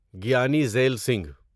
Giani Zail Singh